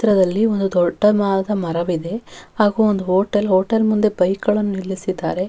ಚಿತ್ರದಲ್ಲಿ ಒಂದು ದೊಡ್ಡದಾದ ಮರವಿದೆ ಹಾಗೂ ಒಂದು ಹೋಟೆಲ್ ಹೋಟೆಲ್ ಮುಂದೆ ಬೈಕ್ಗಳನ್ನು ನಿಲ್ಲಿಸಿದ್ದಾರೆ.